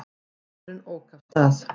Maðurinn ók af stað.